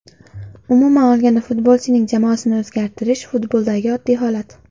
Umuman olganda futbolchining jamoasini o‘zgartirish futboldagi oddiy holat.